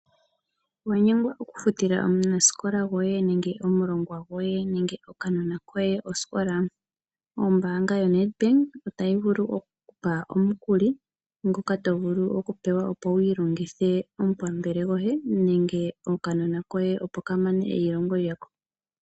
Owa nyengwa okufutila omunasikola gwoye nenge omulongwa gwoye nenge okanona koye osikola? Ombanga yoNedbank otayi vulu oku ku pa omukuli, ngoka to vulu oku pewa opo wi ilongithithe omupampele gwoye nenge okanona koye opo ka mane eilongo lyako.